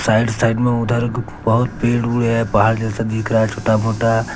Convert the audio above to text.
side side में उधर बहोत पेड़ ओड़ है पहाड़ जैसा दिख रहा है छोटा मोटा --